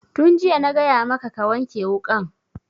Tun jiya na gaya maka ka wanke wukan